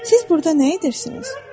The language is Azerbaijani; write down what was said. Siz burda nə edirsiniz?